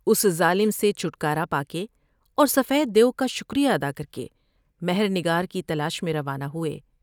اس ظالم سے چھٹکارا پا کے اور سفید دیو کا شکر یہ ادا کر کے مہر نگار کی تلاش میں روانہ ہوۓ ۔